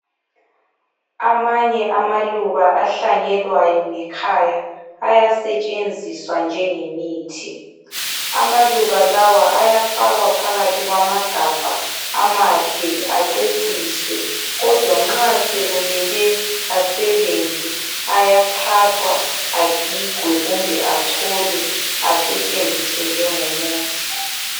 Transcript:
Amanye amaluba ahlanyelwayo ngekhaya ayasetshenziswa njengemithi. Amaluba lawa ayafakwa phakathi kwamagabha amahle aceciswe kodwa nxa sekumele asebenze, ayathathwa agigwe kumbe acholwe asetshenziswe njengomuthi.